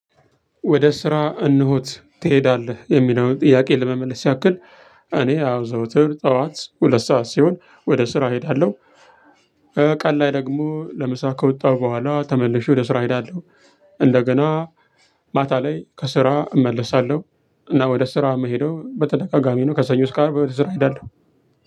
ወደ ስራ እነሆ ትሄዳለህ የሚለውን ጥያቄ ለመመለስ ያክል እኔ አው ዘውትር ጠዋት ሁለት ሰዓት ሲሆን ወደ ስራ እሄዳለሁ። ቀን ላይ ደግሞ ለምሳ ከወጣሁ በኋላ ተመልሼ ወደ ስራ እሄዳለሁ። እንደገና ማታ ላይ ከስራ እመለሳለሁ። እና ወደ ስራ የምሄደው በተደጋጋሚ ነው ከሰኞ እስከ አርብ እሄዳለሁ።